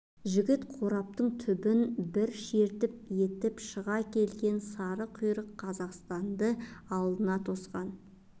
жігіт қораптың түбін бір шертіп етіп шыға келген сары құйрық қазақстанды алдына тосқан